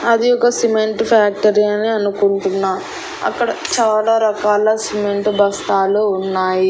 అది ఒక cement factory అని అనుకుంటున్న అక్కడ చాలా రకాల సిమెంట్ బస్తాలు ఉన్నాయి.